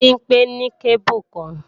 Bimpé ní kébù kan